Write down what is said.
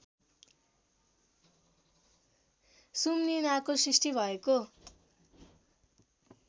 सुम्निमाको सृष्टि भएको